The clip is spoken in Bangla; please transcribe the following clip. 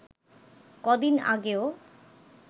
কদিন আগেও